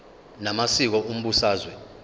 na masiko umbusazwe